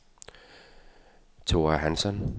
Thora Hansson